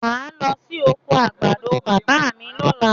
Mò ń lọ sí oko àgbàdo bàbá mi lọ́la.